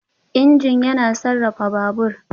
Injin yana sarrafa Babur.